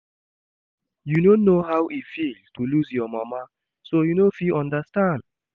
You no know how e feel to lose your mama so you no fit understand